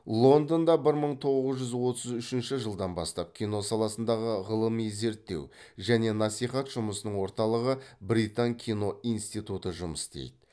лондонда бір мың тоғыз жүз отыз үшінші жылдан бастап кино саласындағы ғылылми зерттеу және насихат жұмысының орталығы британ кино институты жұмыс істейді